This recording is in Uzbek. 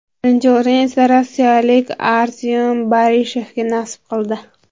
Birinchi o‘rin esa rossiyalik Artyom Barishevga nasib qildi.